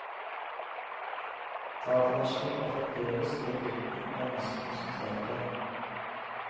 Datamaskinen var fremdeles det gutten var mest konsentrert om.